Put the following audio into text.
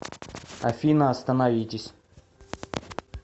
афина остановитесь